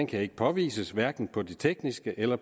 kan ikke påvises hverken på de tekniske eller